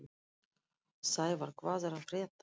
Sævarr, hvað er að frétta?